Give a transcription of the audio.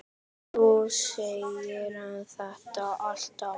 Þú segir þetta alltaf!